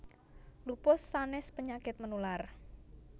Lupus sanes penyakit menular